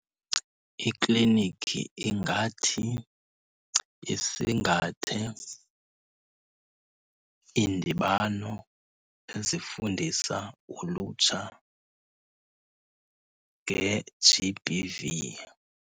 Iklinikhi ingathi isingathe iindibano ezifundisa ulutsha nge-G_B_V.